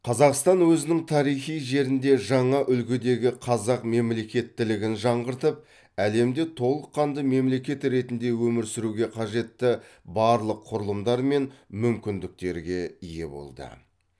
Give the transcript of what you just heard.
қазақстан өзінің тарихи жерінде жаңа үлгідегі қазақ мемлекеттілігін жаңғыртып әлемде толыққанды мемлекет ретінде өмір сүруге қажетті барлық құрылымдар мен мүмкіндіктерге ие болды